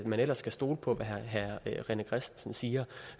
man ellers skal stole på hvad herre rené christensen siger